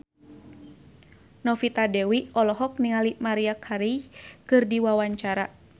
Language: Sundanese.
Novita Dewi olohok ningali Maria Carey keur diwawancara